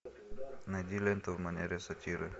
найди ленту в манере сатиры